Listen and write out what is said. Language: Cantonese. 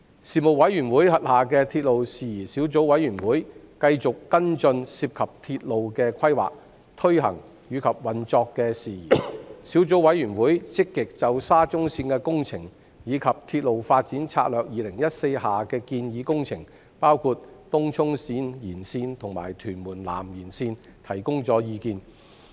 事務委員會轄下的鐵路事宜小組委員會，繼續跟進涉及鐵路的規劃、推行及運作的事宜。小組委員會積極就沙中綫的工程，以及《鐵路發展策略2014》下的建議工程，包括東涌綫延綫和屯門南延綫，提供意見。